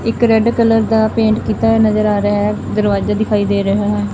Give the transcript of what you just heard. ਇੱਕ red colour ਦਾ paint ਕੀਤਾ ਹੋਇਆ ਨਜ਼ਰ ਆ ਰਿਹਾ ਹੈ ਦਰਵਾਜਾ ਦਿਖਾਈ ਦੇ ਰਿਹਾ ਹੈ।